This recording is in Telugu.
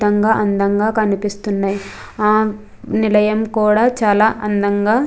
తంగా అందంగా కనిపిస్తున్నాయ్ ఆ నిలయం కూడా చాలా అందంగా --